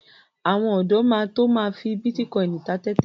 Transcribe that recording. Àwọn ọ̀dọ́ máa to my fi bítíkọìnì ta tẹ́tẹ́.